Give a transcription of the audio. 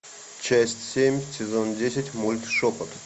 часть семь сезон десять мульт шепот